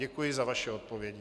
Děkuji za vaše odpovědi.